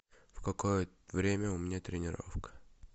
в какое время у меня тренировка